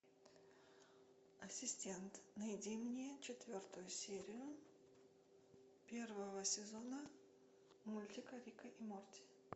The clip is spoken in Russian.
ассистент найди мне четвертую серию первого сезона мультика рика и морти